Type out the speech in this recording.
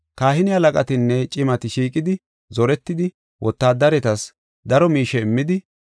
Kahine halaqatinne cimati shiiqidi zoretidi, wotaadaretas daro miishe immidi,